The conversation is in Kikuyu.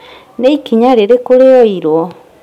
Ni ikinya rĩrĩkũ rĩoyirwo?